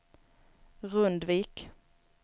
Rundvik